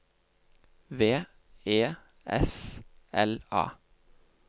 V E S L A